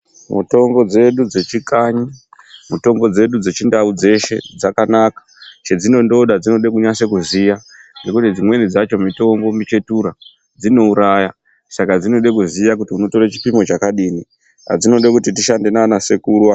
Mutombo dzedu dzechikanyi, mutombo dzedu dzechindau dzakanaka. Chedzinondoda dzinoda kunasa kuziya. Ngekuti dzimweni dzacho mitombo muchetura. Dzinouraya. Saka dzinoda kuziya kuti unotora chipimo chakadini. Saka dzinoda kuti tishande nana sekuru apo.